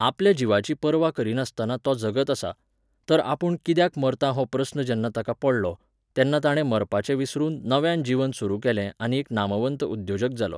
आपल्या जिवाची पर्वा करिनासतना तो जगत आसा. तर आपूण कित्याक मरतां हो प्रस्न जेन्ना ताका पडलो, तेन्ना ताणें मरपाचें विसरून नव्यान जिवन सुरू केलें आनी एक नामवंत उद्द्योजक जालो.